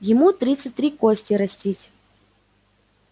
ему тридцать три кости растить